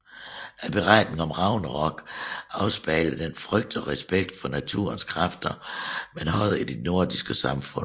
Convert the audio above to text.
Beretningen om Ragnarok afspejler den frygt og respekt for naturens kræfter man havde i det nordiske samfund